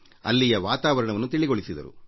ಅಲ್ಲಿಯ ವಾತಾವರಣವನ್ನು ತಿಳಿಗೊಳಿಸಿದರು